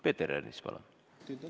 Peeter Ernits, palun!